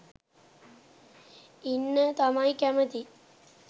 ඉන්න තමයි කැමති.